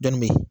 Dɔnni be yen